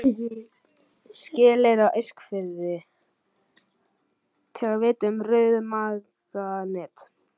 Skeleyri á Eskifirði, til að vitja um rauðmaganet.